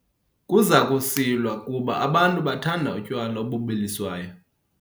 Kuza kusilwa kuba abantu bathanda utywala obubiliswayo.